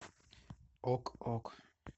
ок ок